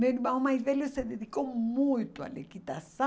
Meu irmão mais velho se dedicou muito à